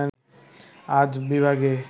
আজ বিভাগে